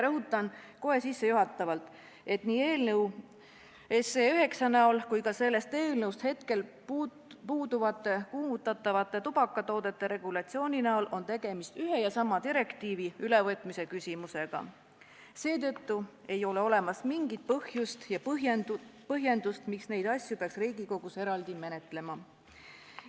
Rõhutan kohe sissejuhatavalt, et nii eelnõu 9 kui ka sellest hetkel puuduv kuumutatavate tubakatoodete regulatsioon kujutab endast ühe ja sama direktiivi ülevõtmise küsimust, seetõttu ei ole olemas mingit põhjust ja põhjendust, miks neid asju peaks Riigikogus eraldi menetlema.